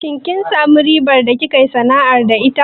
Kin samu riba da kika yi sana'ar da ita?